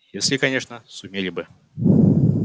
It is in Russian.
если конечно сумели бы